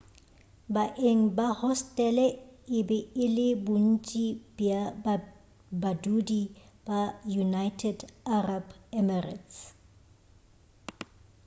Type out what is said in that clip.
baeng ba hostele e be e le bontši bja badudi ba united arab emirates